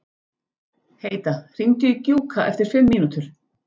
Heida, hringdu í Gjúka eftir fimm mínútur.